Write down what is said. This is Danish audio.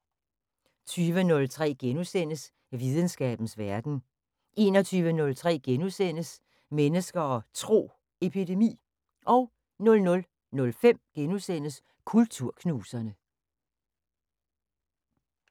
20:03: Videnskabens Verden * 21:03: Mennesker og Tro: Epidemi * 00:05: Kulturknuserne *